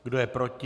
Kdo je proti?